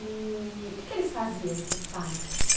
E o que é que eles faziam, seus pais?